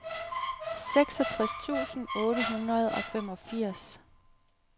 seksogtres tusind otte hundrede og femogfirs